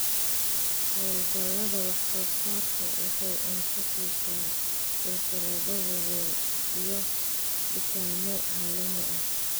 Hawlgallada wax-soo-saarku waxay cunto siisaa silsilado waaweyn iyo dukaamo caalami ah.